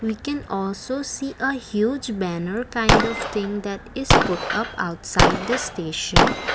we can also see a huge banner kind of thing that is put of outside the station.